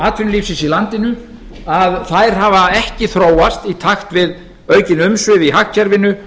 atvinnulífsins í landinu að þær hafa ekki þróast í takt við aukin umsvif í hagkerfinu